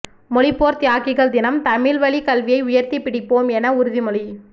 மொழிப்போர் தியாகிகள் தினம் தமிழ் வழி கல்வியை உயர்த்தி பிடிப்போம் என உறுதிமொழி